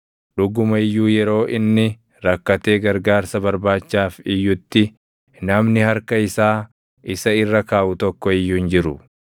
“Dhuguma iyyuu yeroo inni rakkatee gargaarsa barbaachaaf iyyutti, namni harka isaa isa irra kaaʼu tokko iyyuu hin jiru.